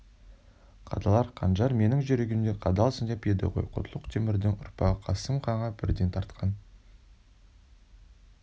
қадалар қанжар менің жүрегіме қадалсындеп еді ғой құтлық-темірдің ұрпағы қасым ханға бірден тартқан